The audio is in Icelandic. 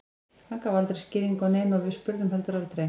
Hann gaf aldrei skýringu á neinu og við spurðum heldur aldrei.